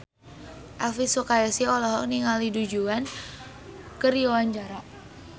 Elvy Sukaesih olohok ningali Du Juan keur diwawancara